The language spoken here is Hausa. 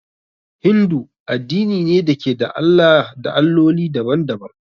Hindu addini ne da ke da Allah da Alloli daban-daban.